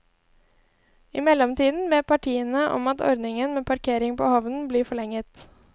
I mellomtiden ber partiene om at ordningen med parkering på havnen blir forlenget.